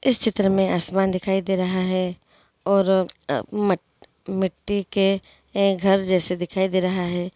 इस चित्र में आसमान दिखाई दे रहा है और म-मिट्टी के घर जैसा दिखाई दे रहा है।